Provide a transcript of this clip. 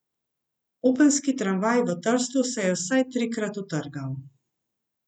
Openski tramvaj v Trstu se je vsaj trikrat utrgal.